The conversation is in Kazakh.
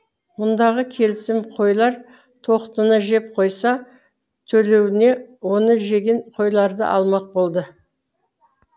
мұндағы келісім қойлар тоқтыны жеп қойса төлеуіне оны жеген қойларды алмақ болды